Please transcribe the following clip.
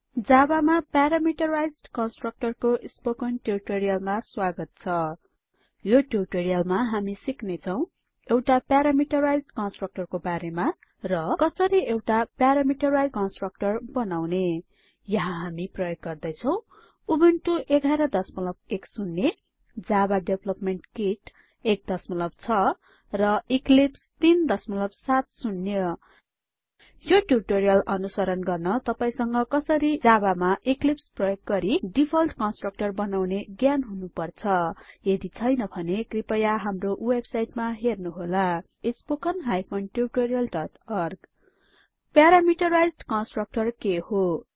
javaमा parameterized constructor को spoken ट्युटोरियलमा स्वागत छ यो ट्युटोरियलमा हामी सिक्नेछौं एउटा प्यारामेट्राइज्ड constructorबारेमा र कसरि एउटा प्यारामिटराइज्ड constructorबनाउन यहाँ हामी प्रयोग गर्दैछौं Ubuntu version 1110 OS Java development kit 16 र इक्लिप्स 370 यो ट्युटोरियल अनुसरण गर्न तपाईसँग कसरि जाबामा इक्लिप्स प्रयोग गरेई डिफल्ट कन्स्ट्रक्टर बनाउने ज्ञान हुनुपर्छ यदि छैन भने कृपया हाम्रो वेबसाइटमा जानुहोस् httpwwwspoken tutorialओर्ग प्यारामिटराइज्ड constructorके हो